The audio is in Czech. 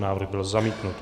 Návrh byl zamítnut.